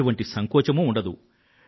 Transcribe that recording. ఎటువంటి సంకోచమూ ఉండదు